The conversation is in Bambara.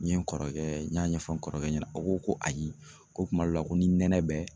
N ye n kɔrɔkɛ n y'a ɲɛfɔ n kɔrɔkɛ ɲɛna o ko ko ayi ko kuma dɔw la ko ni nɛnɛ bɛ